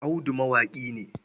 Audu mawaƙi ne.